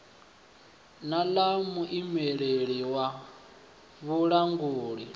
na ḽa muimeleli wa vhulanguli